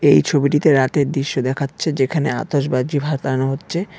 এই ছবিটিতে রাতের দৃশ্য দেখাচ্ছে যেখানে আতসবাজি ফাটানো হচ্ছে।